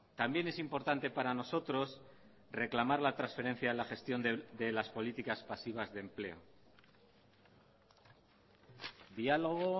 también es importante para nosotros reclamar la transferencia en la gestión de las políticas pasivas de empleo diálogo